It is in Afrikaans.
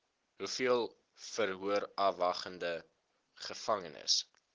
hoeveel verhoorafwagtende gevangenes